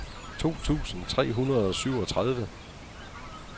to tusind tre hundrede og syvogtredive